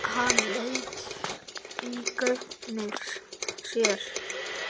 Hann leit í gaupnir sér.